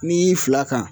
N'i y'i fila kan